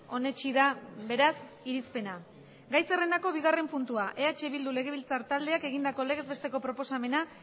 onetsi da beraz irizpena gai zerrendako bigarren puntua eh bildu legebiltzar taldeak egindako legez besteko proposamena